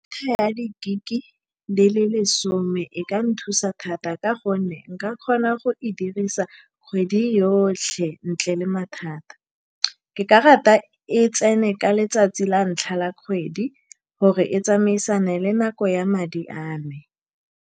Ya di-gig-e di le lesome e ka nthusa thata, ka gonne nka kgona go e dirisa kgwedi yotlhe ntle le mathata. Ke ka rata e tsene ka letsatsi la ntlha la kgwedi, gore e tsamaisane le nako ya madi a me.